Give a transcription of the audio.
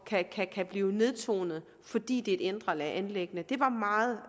kan blive nedtonet fordi det er et indre anliggende det var meget